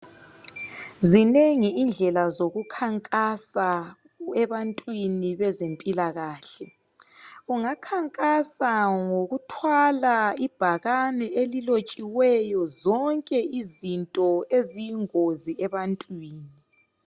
Zinengi indlela zokukhankasa abantwini bezempilakahle. Ungakhankasa ngokuthwala ibhakane elilotshiweyo zonke izinto eziyingozi ebantwini.